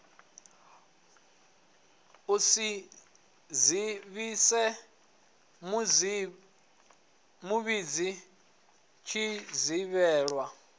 u si dzivhise muvhidzi tshivhidzelwa